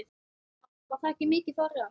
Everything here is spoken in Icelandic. Páll: Var þakið mikið farið?